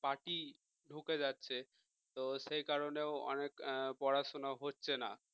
party ঢুকে যাচ্ছে তো সেই কারণেও অনেক পড়াশুনা হচ্ছে না।